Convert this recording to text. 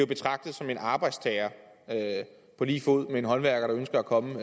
betragtet som en arbejdstager på lige fod med en håndværker der ønsker at komme